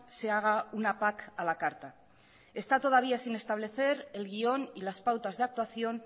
se haga una pac a la carta está todavía sin establecer el guión y las pautas de actuación